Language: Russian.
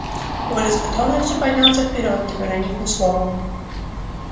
коля с готовностью поднялся вперёд не проронив ни слова